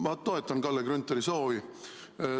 Ma toetan Kalle Grünthali soovi.